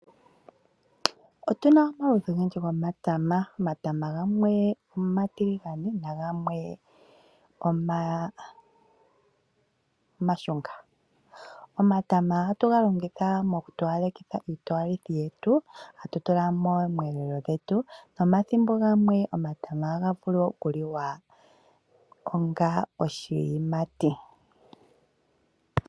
Otu na omaludhi ogendji gomatama. Omatama gamwe omatiligane. Omatama ohatu ga longitha mokutowalekitha, tatu tula momweelelo gwetu, nomathimbo gamwe omatama ohaga vulu okuliwa onga oshiyimati.